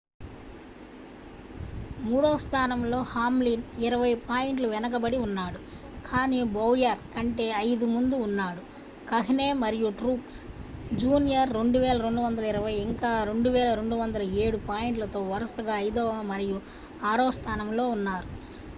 మూడవ స్థానంలో హామ్లిన్ ఇరవై పాయింట్ల వెనుకబడి ఉన్నాడు కాని బౌయర్ కంటే ఐదు ముందు ఉన్నాడు కహ్నే మరియు ట్రూక్స్ జూనియర్ 2,220 ఇంకా 2,207 పాయింట్లతో వరుసగా ఐదవ మరియు ఆరవ స్థానంలో ఉన్నారు